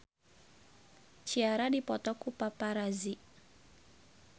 Ciara dipoto ku paparazi